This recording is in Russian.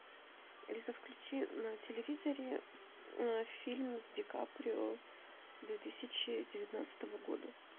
алиса включи на телевизоре фильм с ди каприо две тысячи девятнадцатого года